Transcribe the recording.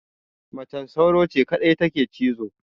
Macen sauro ce kadai take cizo